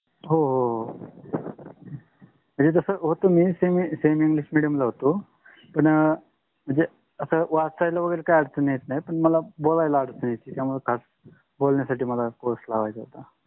हो हो हो मी तसं होत semi english medium ला होतो. पन म्हणजे वाचा करायला अडचण नाही पण बोलायला अडचण येते महणून course लावायचा होता.